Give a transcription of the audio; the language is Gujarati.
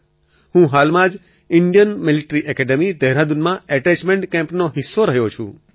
હું હાલમાં જ ઇન્ડિયન મિલિટરી એકેડેમી દહેરાદૂનમાં એટેચમેન્ટ કેમ્પનો હિસ્સો રહ્યો છું